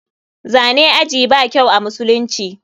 Zane ajii ba kyau amusulunci.